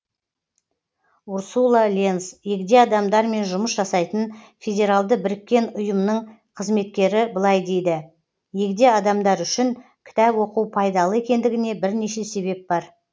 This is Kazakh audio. урсула ленз егде адамдармен жұмыс жасайтын федеральды біріккен ұйымның қызметкері былай дейді егде адамдар үшін кітап оқу пайдалы екендігіне бірнеше себеп бар